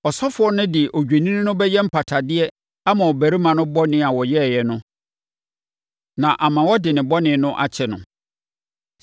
Ɔsɔfoɔ no de odwennini no bɛyɛ mpatadeɛ ama ɔbarima no bɔne a ɔyɛeɛ no na ama wɔde ne bɔne no akyɛ no.